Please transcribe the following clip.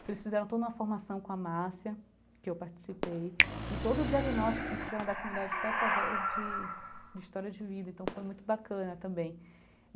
Então eles fizeram toda uma formação com a Márcia, que eu participei, e todo o diagnóstico em cima da comunidade foi através de de história de vida, então foi muito bacana também.